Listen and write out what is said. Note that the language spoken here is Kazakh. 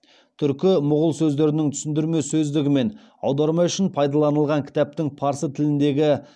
түркі мұғул сөздерінің түсіндірме сөздігі мен аударма үшін пайдаланылған кітаптың парсы тіліндегі